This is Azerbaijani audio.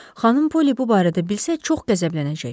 Xanım Poli bu barədə bilsə, çox qəzəblənəcək.